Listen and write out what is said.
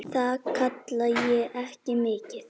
Það kalla ég ekki mikið.